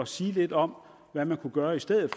sige lidt om hvad man kunne gøre i stedet